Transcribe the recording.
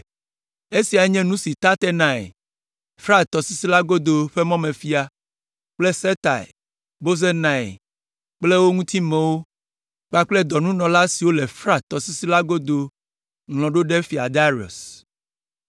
Esia nye nu si Tatenai, Frat tɔsisi la godo ƒe mɔmefia kple Setar Bozenai kple wo ŋutimewo kpakple dɔnunɔla siwo le Frat tɔsisi la godo ŋlɔ ɖo ɖe Fia Darius.